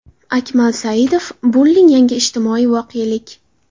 Akmal Saidov: Bulling yangi ijtimoiy voqelik.